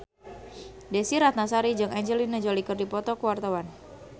Desy Ratnasari jeung Angelina Jolie keur dipoto ku wartawan